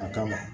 A kama